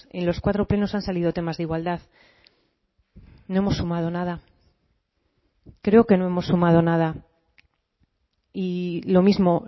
en los cuatro plenos han salido temas de igualdad no hemos sumado nada creo que no hemos sumado nada y lo mismo